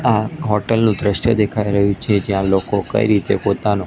આ હોટેલ નું દ્રશ્ય દેખાય રહ્યું છે જ્યાં લોકો કઈ રીતે પોતાનો--